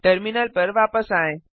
terminal पर वापस आएँ